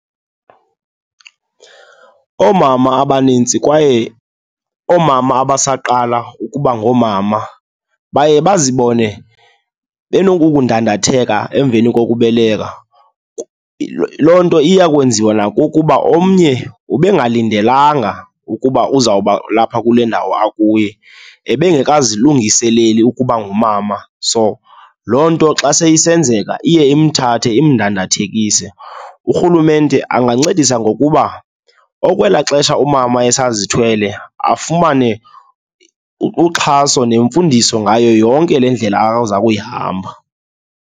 Oomama abanintsi kwaye oomama abasaqala ukuba ngoomama baye bazibone benokukudathenga emveni kokubeleka. Loo nto iya kwenziwa nakukuba omnye ubengalindelanga ukuba uzawuba lapha kule ndawo akuyo, ebengeka zilungiseleli ukuba ngumama, so loo nto xa sezisenzeka iye imthathe imdandathekise. Urhulumente angancedisa ngokuba okwelaa xesha umama esazithwele, afumane uxhaso nemfundiso ngayo yonke le ndlela aza kuyihamba.